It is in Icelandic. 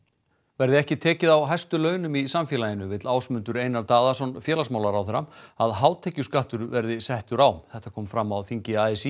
verði ekki tekið á hæstu launum í samfélaginu vill Ásmundur Einar Daðason félagsmálaráðherra að hátekjuskattur verði settur á þetta kom fram á þingi a s